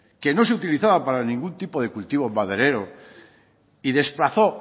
que no se utilizaba para ningún tipo de cultivo maderero y desplazó